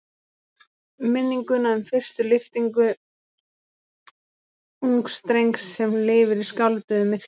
Minninguna um fyrstu lyftingu ungs drengs sem lifir í skálduðu myrkri.